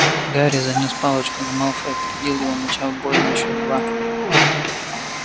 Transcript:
гарри занёс палочку но малфой опередил его начав бой на счёт два